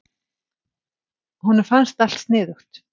Honum fannst allt sniðugt.